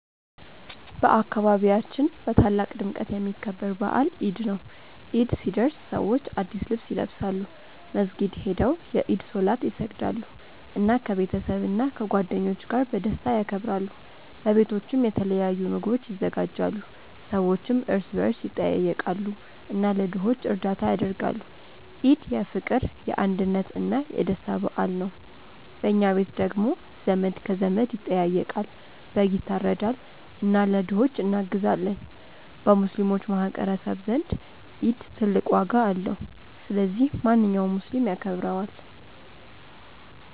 በአካባቢያችን በታላቅ ድምቀት የሚከበር በዓል ኢድ ነው። ኢድ ሲደርስ ሰዎች አዲስ ልብስ ይለብሳሉ፣ መስጊድ ሄደው የኢድ ሶላት ይሰግዳሉ፣ እና ከቤተሰብና ከጓደኞች ጋር በደስታ ያከብራሉ። በቤቶችም የተለያዩ ምግቦች ይዘጋጃሉ፣ ሰዎችም እርስ በርስ ይጠያየቃሉ እና ለድሆች እርዳታ ያደርጋሉ። ኢድ የፍቅር፣ የአንድነት እና የደስታ በዓል ነው። በኛ ቤት ደግሞ ዘመድ ከዘመድ ይጠያየቃል፣ በግ ይታረዳል እና ለድሆች እናግዛለን። በሙስሊሞች ማህቀረሰብ ዘንድ ኢድ ትልቅ ዋጋ አለው። ስለዚህ ማንኛውም ሙስሊም ያከብረዋል።